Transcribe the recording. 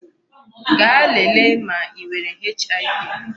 Gaa lèlè ma I nwere HIV.